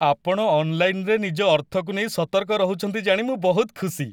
ଆପଣ ଅନ୍-ଲାଇନରେ ନିଜ ଅର୍ଥକୁ ନେଇ ସତର୍କ ରହୁଛନ୍ତି ଜାଣି ମୁଁ ବହୁତ ଖୁସି।